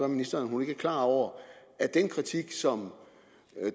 ministeren om hun ikke er klar over at den kritik som